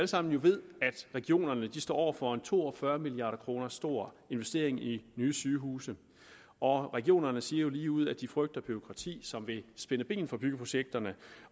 sammen ved at regionerne står over for en to og fyrre milliard kroner stor investering i nye sygehuse og regionerne siger jo lige ud at de frygter bureaukrati som vil spænde ben for byggeprojekterne